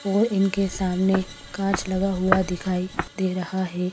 और इनके सामने कांच लगा हुआ दिखाई दे रहा है।